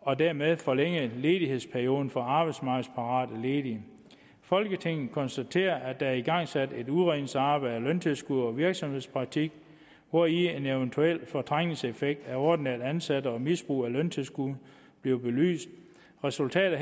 og dermed forlænge ledighedsperioden for arbejdsmarkedsparate ledige folketinget konstaterer at der er igangsat et udredningsarbejde af løntilskud og virksomhedspraktik hvori en eventuel fortrængningseffekt af ordinært ansatte og misbrug af løntilskud bliver belyst resultatet